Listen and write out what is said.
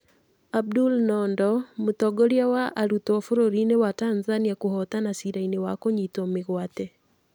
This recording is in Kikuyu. Abdul Nondo: Mũtongoria wa arutwo bũrũri-inĩ wa Tanzania kũhootana ciira-inĩ wa kũnyitwo mĩgwate.